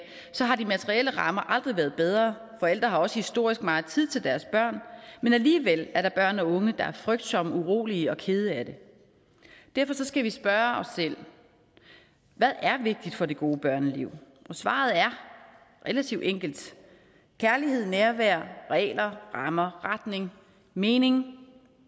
har de materielle rammer aldrig været bedre forældre har også historisk meget tid til deres børn men alligevel er der børn og unge der er frygtsomme urolige og kede af det derfor skal vi spørge os selv hvad er vigtigt for det gode børneliv svaret er relativt enkelt kærlighed nærvær regler rammer retning mening